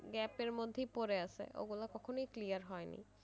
gap এর মধ্যেই পড়ে আছে ওগুলো কখনোই clear হয়নি।